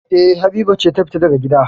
E, Habiba ce ta fita daga gida.